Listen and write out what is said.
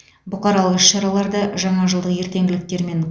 бұқаралық іс шараларды жаңа жылдық ертеңгіліктермен